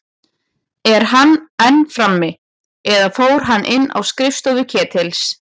Er hann enn frammi- eða fór hann inn á skrifstofu Ketils?